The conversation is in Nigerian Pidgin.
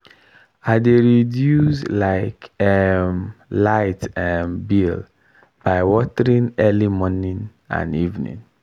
i dey reduce um um light um bill by watering early morning and evening.